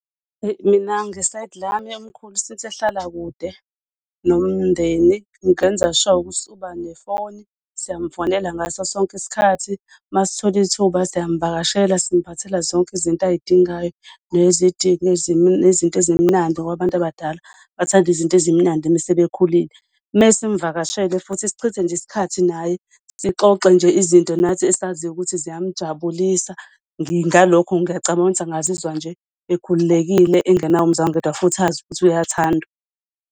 Eyi, mina nge-side lami umkhulu since ehlala kude nomndeni ngenza sure ukuthi uba nefoni siyamfonela ngaso sonke iskhathi. Uma sithola ithuba siyamvakashela simphathela zonke izinto ay'dingayo nezinto ezimnandi ngoba abantu abadala bathanda izinto ezimnandi mese bekhulile. Mesimvakashele futhi sichithe nje iskhathi naye. Sixoxe nje izinto nathi esaziyo ukuthi ziyamjabulisa ngalokho ngiyacabanga ukuthi angazizwa nje ekhululekile enganawo umzwangedwa futhi azi ukuthi uyathandwa.